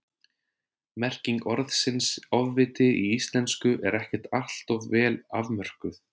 Merking orðsins ofviti í íslensku er ekkert alltof vel afmörkuð.